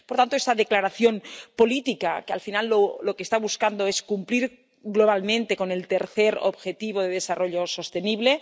Por tanto, esta declaración política al final lo que está buscando es cumplir globalmente con el tercer Objetivo de Desarrollo Sostenible.